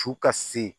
Su ka se